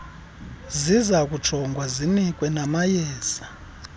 zizokujongwa zinikwe namayeza